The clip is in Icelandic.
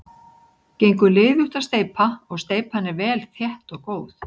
Gengur liðugt að steypa og steypan er vel þétt og góð.